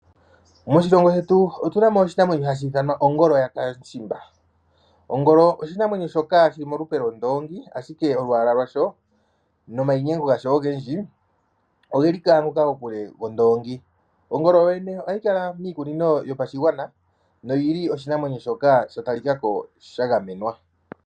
Moshilongo shetu otu na mo oshinamwenyo shoka hashi ithanwa ongolo yakamushimba. Ongolo oshinamwenyo shoka shili molupe lwondoongi ashike olwaala lwasho nayimainyemgo gasho ogendji ogeli kokule nogondoongi. Ongolo ohayi kala miikunino yopashigwana nohayi kala ya talika ko onga oshinamwenyo shoka sha gamenwa.